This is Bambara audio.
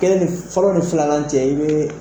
Kelen ni fɔlɔ ni fila cɛ i bɛ